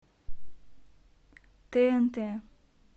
тнт